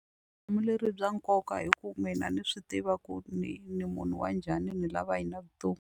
bya nkoka hi ku mina ni swi tiva ku ni ni munhu wa njhani ni lava yini .